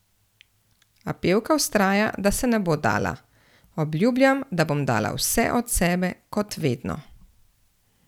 A pevka vztraja, da se ne bo dala: "Obljubljam, da bom dala vse od sebe, kot vedno.